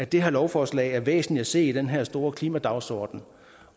det her lovforslag er væsentligt at se i den her store klimadagsordenen